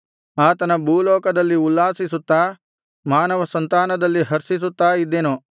ಆತನ ಭೂಲೋಕದಲ್ಲಿ ಉಲ್ಲಾಸಿಸುತ್ತಾ ಮಾನವಸಂತಾನದಲ್ಲಿ ಹರ್ಷಿಸುತ್ತಾ ಇದ್ದೆನು